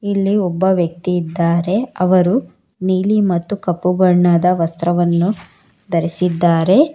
ಇಲ್ಲಿ ಒಬ್ಬ ವ್ಯಕ್ತಿ ಇದ್ದಾರೆ ಅವರು ನೀಲಿ ಮತ್ತು ಕಪ್ಪು ಬಣ್ಣದ ವಸ್ತ್ರವನ್ನು ಧರಿಸಿದ್ದಾರೆ.